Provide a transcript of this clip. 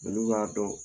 Olu b'a dɔn